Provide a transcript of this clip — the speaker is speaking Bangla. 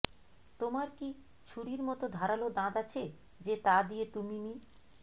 তোমার কী ছুরির মতো ধারালো দাঁত আছে যে তা দিয়ে তুমি মি